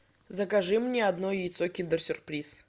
закажи мне одно яйцо киндер сюрприз